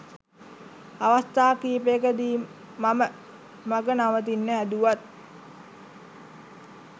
අවස්ථා කිහිපයකදි මම මග නවතින්න හැදුවත්